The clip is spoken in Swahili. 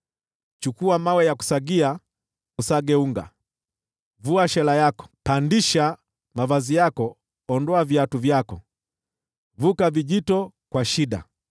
Chukua mawe ya kusagia, usage unga, vua shela yako. Pandisha mavazi yako, ondoa viatu vyako, vuka vijito kwa shida.